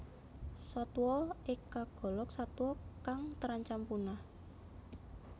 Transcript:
Satwa ik kagolong satwa kang terancam punah